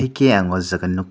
khe ang o jaga nogk.